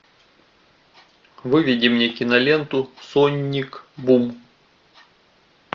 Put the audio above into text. выведи мне киноленту соник бум